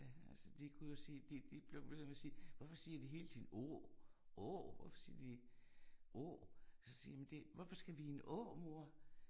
Altså de kunne jo sige de de blev ved med at sige hvorfor siger de hele tiden O, Å, hvorfor siger de Å så siger jeg hvorfor skal vi i en å, mor?